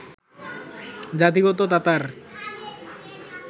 জাতিগত তাতার